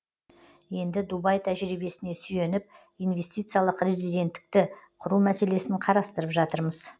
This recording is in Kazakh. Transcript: енді дубай тәжірибесіне сүйеніп инвестициялық резиденттікті құру мәселесін қарастырып жатырмыз